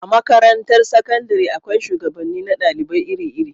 A makarantar sakandare akwai shugabanni na dalibai iri iri